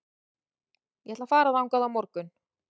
Ég ætla að fara þangað á morgun.